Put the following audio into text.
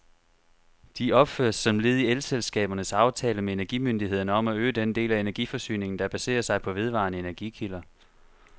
De opføres som led i elselskabernes aftale med energimyndighederne om at øge den del af energiforsyningen, der baserer sig på vedvarende energikilder.